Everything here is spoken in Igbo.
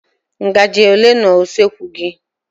Ngaji ole nọ n'usekwu gị?